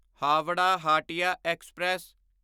Howrah Hatia express